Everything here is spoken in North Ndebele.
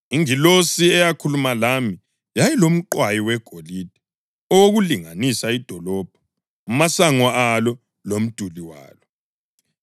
Ingilosi eyakhuluma lami yayilomqwayi wegolide owokulinganisa idolobho, amasango alo lomduli walo.